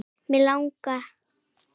Mig lang